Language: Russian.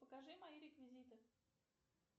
покажи мои реквизиты